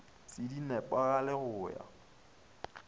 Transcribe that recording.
se di nepagale go ya